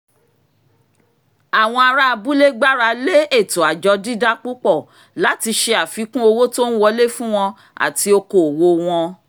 àwọn ará abúlé gbárálé ètò àjọ dídá púpọ̀ láti ṣe àfikún owó tó ń wọlé fún wọn àti okoòwò wọn